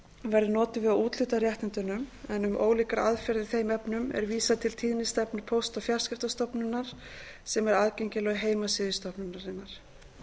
verður notuð við að úthluta réttindunum en um ólíkar aðferðir í þeim efnum er vísað til tíðnistefnu póst og fjarskiptastofnunar sem er aðgengileg á heimasíðu stofnunarinnar